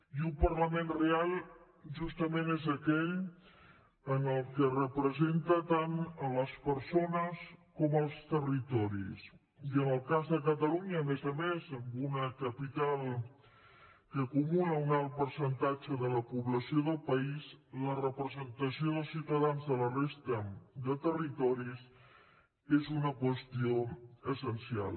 i un parlament real justament és aquell que representa tant les persones com els territoris i en el cas de catalunya a més a més amb una capital que acumula un alt percentatge de la població del país la representació dels ciutadans de la resta de territoris és una qüestió essencial